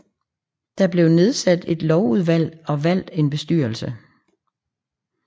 Der blev nedsat et lovudvalg og valgt en bestyrelse